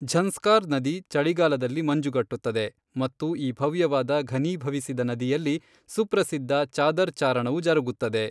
ಝಂಸ್ಕಾರ್ ನದಿ ಚಳಿಗಾಲದಲ್ಲಿ ಮಂಜುಗಟ್ಟುತ್ತದೆ ಮತ್ತು ಈ ಭವ್ಯವಾದ ಘನೀಭವಿಸಿದ ನದಿಯಲ್ಲಿ ಸುಪ್ರಸಿದ್ಧ ಚಾದರ್ ಚಾರಣವು ಜರುಗುತ್ತದೆ.